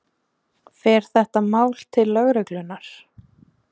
Fer þetta mál til lögreglunnar?